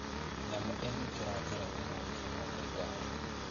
Nyamũ igĩkĩra njĩrainĩ noĩkinywo nĩ ngari